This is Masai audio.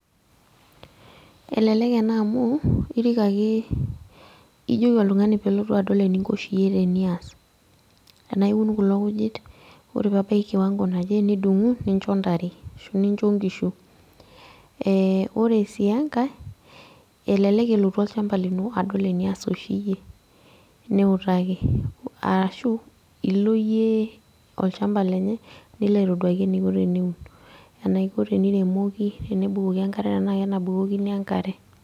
Elelek ena amu, irik ake ijoki oltung'ani pelotu adol eninko oshi yie tenias. Enaa eun kulo kujit, ore pebaki kiwango naje nidung'u, nincho ntare. Ashu nincho nkishu. Ore si enkae, elelek elotu olchamba lino adol enias oshi yie. Niutaki, arashu ilo yie olchamba lenye, nilo aitoduaki eniko teneun. Enaiko teniremoki, tenebukoki enkare tenaa kenabukokini enkare.